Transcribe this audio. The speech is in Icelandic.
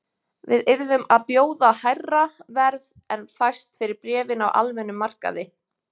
Við yrðum að bjóða hærra verð en fæst fyrir bréfin á almennum markaði